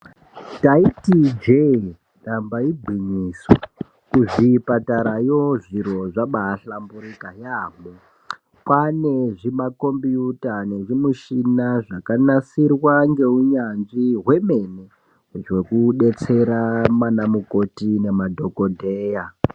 Ndaiti ijee damba igwinyiso, kuzvipatarayo zviro zvabaahlamburika yaamho. Kwaane zvimakhombiyuta nezvimishina zvakanasirwa ngeunyanzvi hwemene, zvokudetsera manamukoti nemadhokodheya.